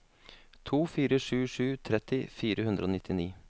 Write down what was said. to fire sju sju tretti fire hundre og nittini